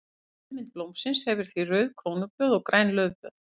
Eftirmynd blómsins hefur því rauð krónublöð og græn laufblöð.